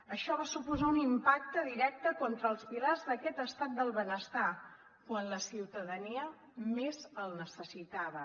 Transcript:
això va suposar un impacte directe contra els pilars d’aquest estat del benestar quan la ciutadania més el necessitava